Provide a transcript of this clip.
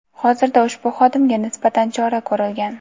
Hozirda ushbu xodimga nisbatan chora ko‘rilgan.